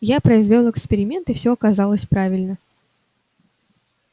я произвёл эксперимент и всё оказалось правильно